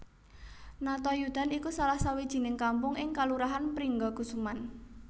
Natayudan iku salah sawijining kampung ing kalurahan Pringgakusuman